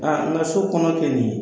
Ŋa an ka so kɔɔna filɛ nin ye